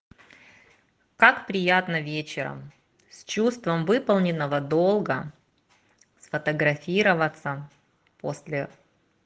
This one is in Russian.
как приятно вечером с чувством выполненного долга сфотографироваться после